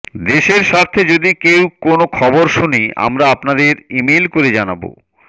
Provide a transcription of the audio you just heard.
দেশের স্বার্থে যদি কোনো খবর শুনি আমরা আপনাদের ইমেইল করে জানাবো